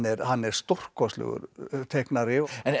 hann er stórkostlegur teiknari